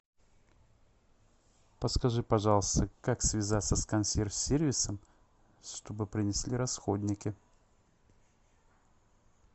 подскажи пожалуйста как связаться с консьерж сервисом чтобы принесли расходники